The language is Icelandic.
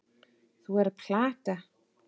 Þú ert að plata.